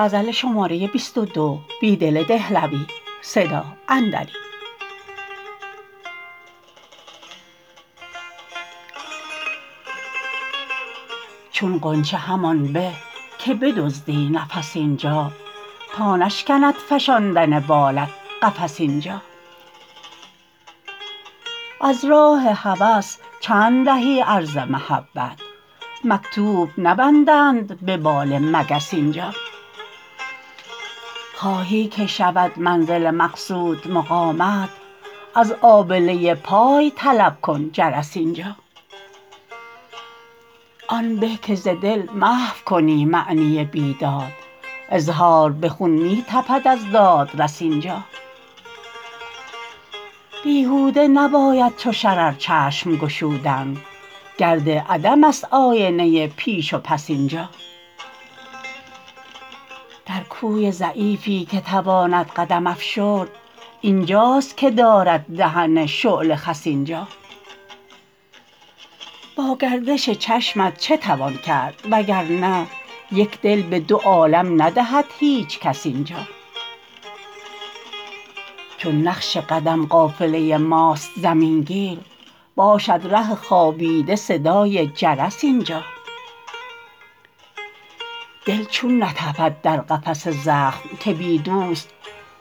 چون غنچه همان به که بدزدی نفس اینجا تا نشکند افشاندن بالت قفس اینجا از راه هوس چند دهی عرض محبت مکتوب نبندند به بال مگس اینجا خواهی که شود منزل مقصود مقامت از آبله پای طلب کن جرس اینجا آن به که ز دل محو کنی معنی بیداد اظهار به خون می تپد از دادرس اینجا بیهوده نباید چو شرر چشم گشودن گرد عدم است آینه پیش و پس اینجا درکوی ضعیفی که تواند قدم افشرد اینجاست که دارد دهن شعله خس اینجا با گردش چشمت چه توان کرد و گرنه یک دل به دو عالم ندهد هیچکس اینجا چون نقش قدم قافله ماست زمین گیر باشد ره خوابیده صدای جرس اینجا دل چون نتپد در قفس زخم که بی دوست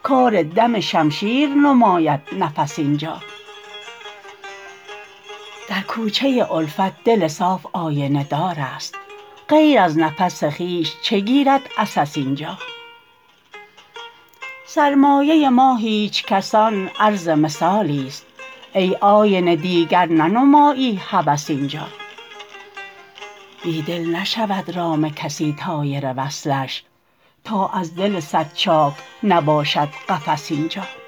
کار دم شمشیر نماید نفس اینجا در کوچه الفت دل صاف آینه دار است غیر از نفس خویش چه گیرد عسس اینجا سرمایه ما هیچ کسان عرض مثالی ست ای آینه دیگر ننمایی هوس اینجا بیدل نشود رام کسی طایر وصلش تا از دل صدچاک نباشد قفس اینجا